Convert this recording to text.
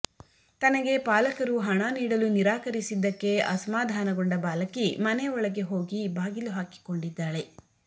ತನಗೆ ಪಾಲಕರು ಹಣ ನೀಡಲು ನಿರಾಕರಿಸಿದ್ದಕ್ಕೆ ಅಸಮಾಧಾನಗೊಂಡ ಬಾಲಕಿ ಮನೆ ಒಳಗೆ ಹೋಗಿ ಬಾಗಿಲು ಹಾಕಿಕೊಂಡಿದ್ದಾಳೆ